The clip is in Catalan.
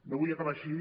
no vull acabar així